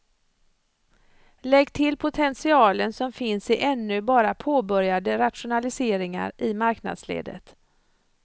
Lägg till potentialen som finns i ännu bara påbörjade rationaliseringar i marknadsledet.